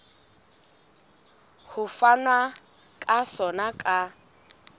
ho fanwa ka sona ka